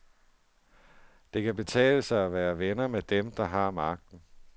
Det kan betale sig at være venner med dem, der har magten.